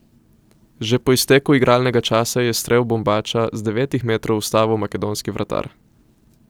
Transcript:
Že po izteku igralnega časa je strel Bombača z devetih metrov ustavil makedonski vratar.